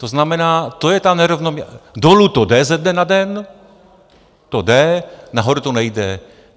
To znamená, to je ta nerovnoměrnost, dolů to jde ze dne na den, to jde, nahoru to nejde.